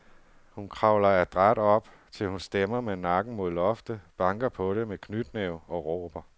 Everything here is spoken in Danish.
Hun kravler adræt op, til hun stemmer med nakken mod loftet, banker på det med knytnæve og råber.